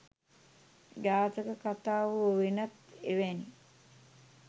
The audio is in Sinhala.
ජාතක කතා හෝ වෙනත් එවැනි